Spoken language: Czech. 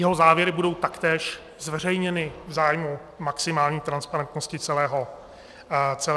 Jeho závěry budou taktéž zveřejněny v zájmu maximální transparentnosti celého procesu.